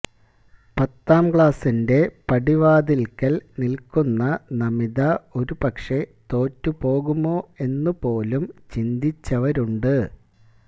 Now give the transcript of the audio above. പത്താം ക്ലാസിന്റെ പടിവാതിൽക്കൽ നിൽക്കുന്ന നമിത ഒരു പക്ഷേ തോറ്റുപോകുമോ എന്നു പോലും ചിന്തിച്ചവരുണ്ട്